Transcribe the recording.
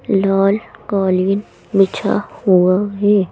लाल कालीन बिछा हुआ है।